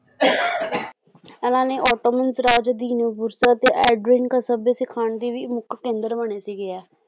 ਇਹਨਾਂ ਨੇ ਔਟੋਮੇਨ ਰਾਜਧਿਨ ਫੁਰਸਤ ਤੇ ਐਡ੍ਰਿਨ ਕਸਬੇ ਸਿਖਾਉਣ ਦੀ ਵੀ ਮੁੱਖ ਕੇਂਦਰ ਬਣੇ ਸੀ ਐ